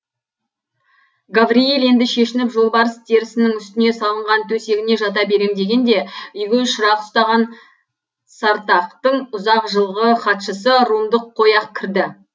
гаврийл енді шешініп жолбарыс терісінің үстіне салынған төсегіне жата берем дегенде үйге шырақ ұстаған сартақтың ұзақ жылғы хатшысы румдық қойақ кірді